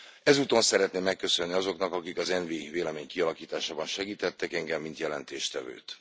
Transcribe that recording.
Ezúton szeretném megköszönni azoknak, akik az ENVI vélemény kialakításában segítettek engem, mint jelentéstevőt.